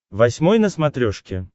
восьмой на смотрешке